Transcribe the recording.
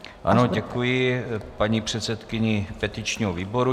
Ano, děkuji paní předsedkyni petičního výboru.